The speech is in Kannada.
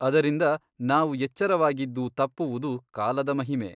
ಅದರಿಂದ ನಾವು ಎಚ್ಚರವಾಗಿದ್ದೂ ತಪ್ಪುವುದು ಕಾಲದ ಮಹಿಮೆ.